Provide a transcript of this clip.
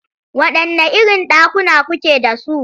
Waɗanne irin ɗakuna kuke da su?